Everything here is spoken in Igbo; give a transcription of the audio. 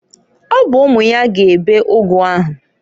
Ọ bụ umu ya ga ebe ụgụ ahụ.